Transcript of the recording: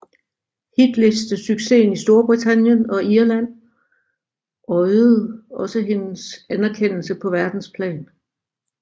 Hitlistesuccesen i Storbritannien og Irland øjede også hendes anerkendelse på verdensplan